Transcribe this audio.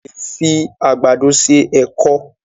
a lẹ fí Àgbàdo ṣe èkó